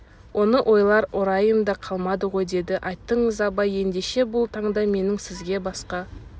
оны ойлар орайым да қалмады ғой деді айттыңыз абай ендеше бұл таңда менің сізге басқа